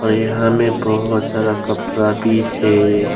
यहां में बहुत सारा कपड़ा भी है।